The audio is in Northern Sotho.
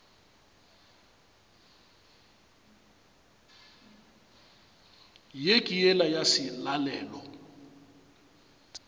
ye ke yela ya selalelo